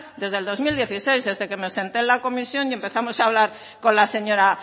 desde el dos mil dieciséis desde que senté en la comisión y empezamos a hablar con la señora